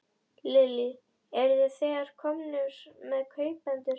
Lillý: Eruð þið þegar komnir með kaupendur?